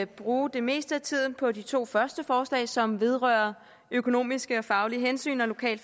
bruge det meste af tiden på de to første forslag som vedrører økonomiske og faglige hensyn og lokal